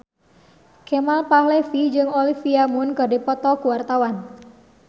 Kemal Palevi jeung Olivia Munn keur dipoto ku wartawan